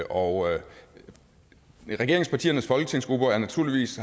og regeringspartiernes folketingsgrupper har naturligvis